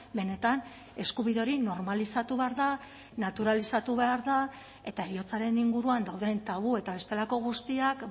benetan eskubide hori normalizatu behar da naturalizatu behar da eta heriotzaren inguruan dauden tabu eta bestelako guztiak